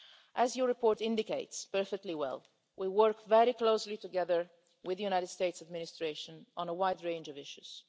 As your report indicates perfectly well, Mr Brok, we work very closely together with the US administration on a wide range of issues.